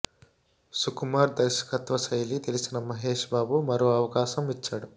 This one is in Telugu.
సుకుమార్ దర్శకత్వ శైలి తెలిసిన మహష్ బాబు మరో అవకాశం ఇచ్చాడు